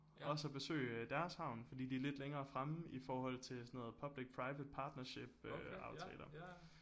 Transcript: Også og besøge deres havn fordi de er lidt længere fremme i forhold til sådan noget public private partnership øh aftaler